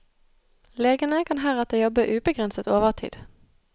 Legene kan heretter jobbe ubegrenset overtid.